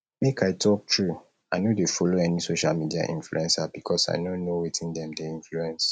make i talk true i no dey follow any social media influencer because i no know wetin dem dey influence